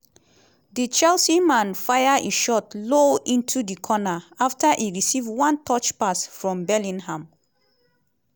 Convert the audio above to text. di chelsea man fire e shot low into di corner afta e receive one touch pass form bellingham.